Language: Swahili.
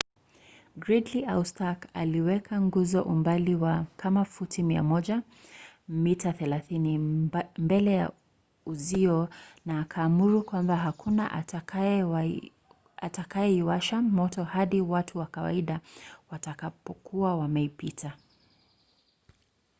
gridley au stark aliweka nguzo umbali wa kama futi 100 mita 30 mbele ya uzio na akaamuru kwamba hakuna atakayeiwasha moto hadi watu wa kawaida watakapokuwa wameipita